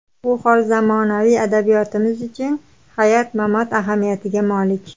Bu hol zamonaviy adabiyotimiz uchun hayot-mamot ahamiyatiga molik.